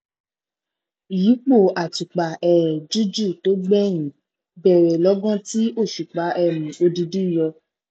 ìyípo àtùpà um jújù tó gbẹyìn bẹrẹ lọgán tí òṣùpá um odindi yọ